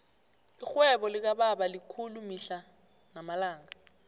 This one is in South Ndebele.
irhwebo likababa likhulu mihla namalanga